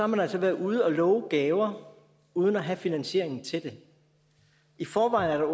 man altså været ude at love gaver uden at have finansieringen til det i forvejen er